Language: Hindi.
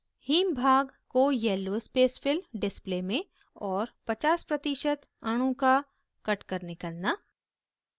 haem भाग को yellow spacefill display में और 50% अणु का कटकर निकलना